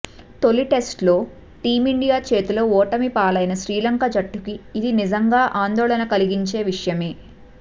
తొలి టెస్టులో టీమిండియా చేతిలో ఓటమిపాలైన శ్రీలంక జట్టుకి ఇది నిజంగా ఆందోళన కలిగించే విషయమే